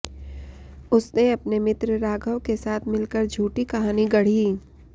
उसने अपने मित्र राघव के साथ मिलकर झूठी कहानी गढ़ी